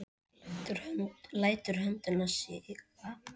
Lætur höndina síga.